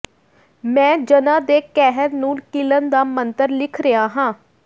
ਮੈਂ ਝਨਾਂ ਦੇ ਕਹਿਰ ਨੂੰ ਕੀਲਣ ਦਾ ਮੰਤਰ ਲਿਖ ਰਿਹਾ ਹਾਂ